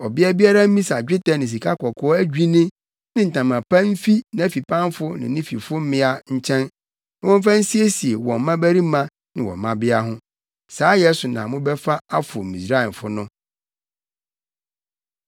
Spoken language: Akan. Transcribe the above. Ɔbea biara mmisa dwetɛ ne sikakɔkɔɔ adwinne ne ntama pa mfi nʼafipamfo ne ne fifo mmea nkyɛn na wɔmfa nsiesie wɔn mmabarima ne wɔn mmabea ho. Saayɛ so na mobɛfa afow Misraimfo no.”